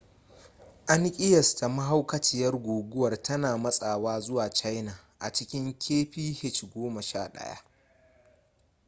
an kiyasta mahaukaciyar guguwar tana matsawa zuwa china a cikin kph goma sha ɗaya